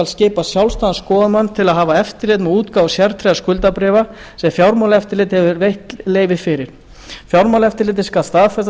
skipa sjálfstæðan skoðunarmann til að hafa eftirlit með útgáfu sértryggðra skuldabréfa sem fjármálaeftirlitið hefur veitt leyfi fyrir fjármálaeftirlitið skal staðfesta